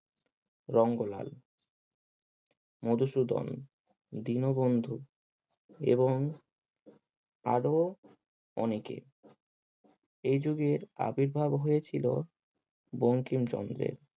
রঙ্গলাল মধুসূদন, দীনবন্ধু এবং আরো অনেকে এই যুগে আবির্ভাব হয়েছিল বঙ্কিমচন্দ্রের।